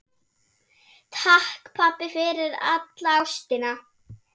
Takk, pabbi, fyrir alla ástina.